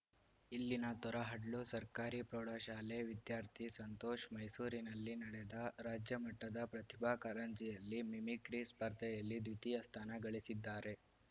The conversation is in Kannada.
ಇಲ್ಲಿನ ತೊರಹಡ್ಲು ಸರ್ಕಾರಿ ಪ್ರೌಢಶಾಲೆ ವಿದ್ಯಾರ್ಥಿ ಸಂತೋಷ್‌ ಮೈಸೂರಿನಲ್ಲಿ ನಡೆದ ರಾಜ್ಯಮಟ್ಟದ ಪ್ರತಿಭಾ ಕಾರಂಜಿಯಲ್ಲಿ ಮಿಮಿಕ್ರಿ ಸ್ಪರ್ಧೆಯಲ್ಲಿ ದ್ವಿತೀಯ ಸ್ಥಾನ ಗಳಿಸಿದ್ದಾರೆ